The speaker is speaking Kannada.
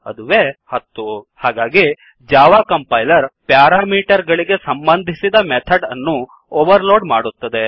ಅದುವೇ 10 ಹಾಗಾಗಿ ಜಾವಾ ಕಂಪೈಲರ್ ಪ್ಯಾರಾಮೀಟರ್ ಗಳಿಗೆ ಸಂಬಂಧಿಸಿದ ಮೆಥಡ್ ಅನ್ನು ಓವರ್ಲೋಡ್ ಮಾಡುತ್ತದೆ